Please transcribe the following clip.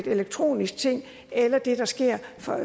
elektronisk ting eller det der sker